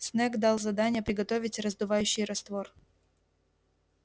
снегг дал задание приготовить раздувающий раствор